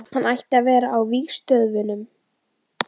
Hann ætti að vera á vígstöðvunum.